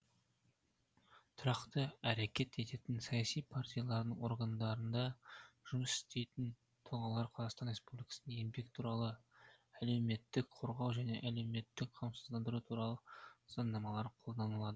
тұрақты әрекет ететін саяси партиялардың органдарында жұмыс істейтін тұлғаларға қазақстан республикасының еңбек туралы әлеуметтік корғау және әлеуметтік қамсыздандыру туралы заңнамалары қолданылады